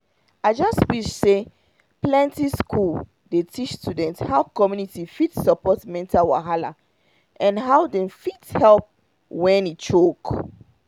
i just wish say plenty school dey teach students how community fit support mental wahala and how dem fit find help when e choke